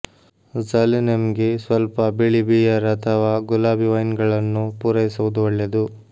ಝುಲೆನೆಮ್ಗೆ ಸ್ವಲ್ಪ ಬಿಳಿ ಬಿಯರ್ ಅಥವಾ ಗುಲಾಬಿ ವೈನ್ಗಳನ್ನು ಪೂರೈಸುವುದು ಒಳ್ಳೆಯದು